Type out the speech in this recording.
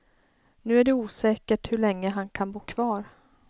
Nu är det osäkert hur långe han kan bo kvar.